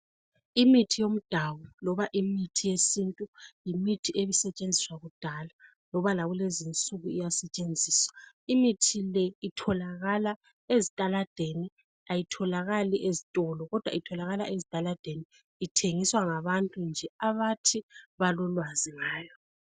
Imithi yomdabuko loba imithi yesintu yimithi ezisetshenziswa kudala loba lakulezinsuku iyasetshenziswa. Imithi le itholakala ezitaladeni ayitholakali ezitolo kodwa itholakala ezitaladeni. Ithengiswa ngabantu nje abathi balolwazi ngayo.